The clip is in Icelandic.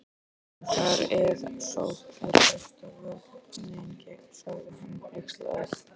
En þar eð sókn er besta vörnin, sagði hann hneykslaður